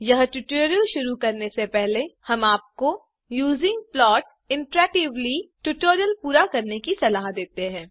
यह ट्यूटोरियल शुरू करने से पहले हम आपको यूजिंग प्लॉट इंटरएक्टिवली ट्यूटोरियल पूरा करनेकी सलाह देते हैं